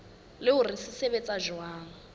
le hore se sebetsa jwang